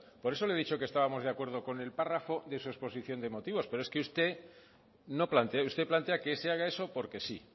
por eso le ha dicho que estábamos de acuerdo con el párrafo de su exposición de motivos pero es que usted plantea que se haga eso porque sí